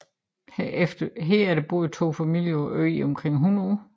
Herefter boede to familie på øen i omkring 100 år